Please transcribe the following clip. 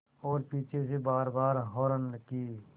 और पीछे से बारबार हार्न की